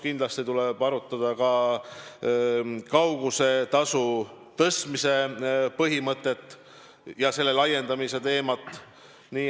Kindlasti tuleb arutada ka kaugusetasu tõstmise põhimõtet ja selle laiendamise teemat.